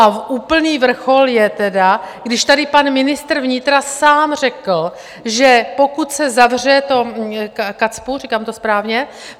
A úplný vrchol je tedy, když tady pan ministr vnitra sám řekl, že pokud se zavře to KACPU - říkám to správně?